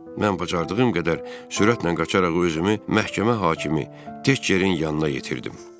Mən bacardığım qədər sürətlə qaçaraq özümü məhkəmə hakimi Tekçerin yanına yetirdim.